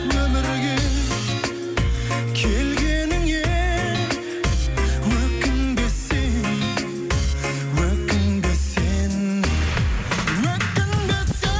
өмірге келгеніңе өкінбе сен өкінбе сен өкінбе